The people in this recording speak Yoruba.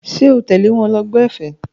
Ṣé o tẹ̀lé wọn lọ gbọ́ ẹ̀fẹ̀?